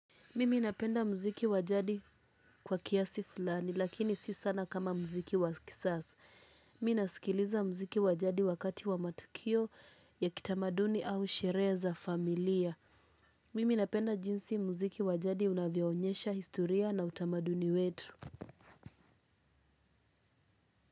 Mimi napenda mziki wa jadi kwa kiasi fulani lakini si sana kama mziki wa kisasa. Mi nasikiliza mziki wa jadi wakati wa matukio ya kitamaduni au sherehe za familia. Mimi napenda jinsi mziki wa jadi unavyoonyesha historia na utamaduni wetu.